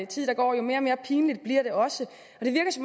tid der går jo mere pinligt bliver det også